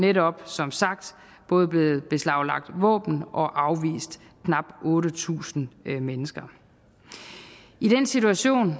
netop som sagt både blevet beslaglagt våben og afvist knap otte tusind mennesker i den situation